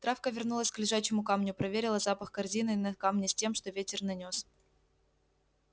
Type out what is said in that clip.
травка вернулась к лежачему камню проверила запах корзины на камне с тем что ветер нанёс